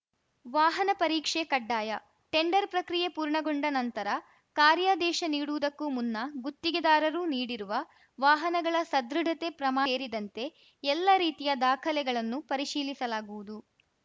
ವಾಹನ ಪರೀಕ್ಷೆ ಕಡ್ಡಾಯ ಟೆಂಡರ್‌ ಪ್ರಕ್ರಿಯೆ ಪೂರ್ಣಗೊಂಡ ನಂತರ ಕಾರ್ಯಾದೇಶ ನೀಡುವುದಕ್ಕೂ ಮುನ್ನ ಗುತ್ತಿಗೆದಾರರು ನೀಡಿರುವ ವಾಹನಗಳ ಸದೃಢತೆ ಪ್ರಮಾ ಏರಿದಂತೆ ಎಲ್ಲರೀತಿಯ ದಾಖಲೆಗಳನ್ನು ಪರಿಶೀಲಿಸಲಾಗುವುದು